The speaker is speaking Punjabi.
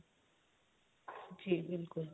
ਜੀ ਬਿਲਕੁਲ